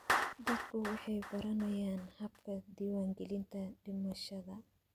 Dadku waxay baranayaan habka diiwaangelinta dhimashada.